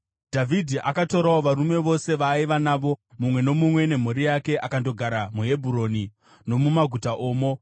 Dhavhidhi akatorawo varume vose vaaiva navo, mumwe nomumwe nemhuri yake, akandogara muHebhuroni nomumaguta omo.